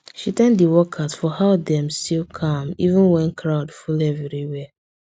she thank the workers for how dem still calm even when crowd full everywhere